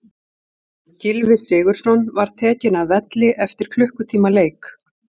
Gylfi Sigurðsson var tekinn af velli eftir klukkutíma leik.